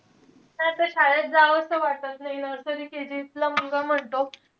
शाळेत जावंस वाटत नाई nursery K. G ला मुलगा म्हणतो.